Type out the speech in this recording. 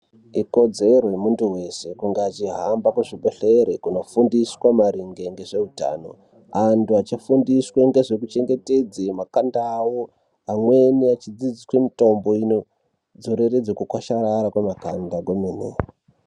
Ikodzero yemuntu veshe kuhamba kuzvibhedhlera kunofundiswa maringe ngezveutano. Antu achifundiswe ngezvekuchengetedze makanda avo, amweni achidzidziswe mitombo inonodzoreredze kukwasharara kwema kanda kwemene.